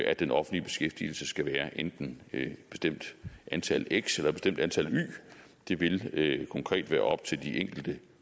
at den offentlige beskæftigelse skal være enten et bestemt antal x eller et bestemt antal y det vil konkret være op til de enkelte